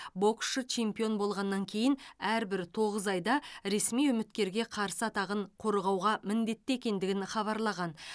боксшы чемпион болғаннан кейін әрбір тоғыз айда ресми үміткерге қарсы атағын қорғауға міндетті екендігін хабарлаған